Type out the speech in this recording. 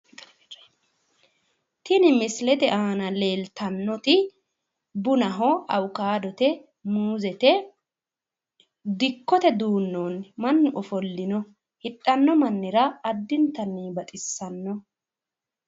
Tini misilete aana leeltannoti bunaho, awukaadote, muuzete dikkote duu'noonni mannu ofollino hidhanno mannira addintanni baxissanno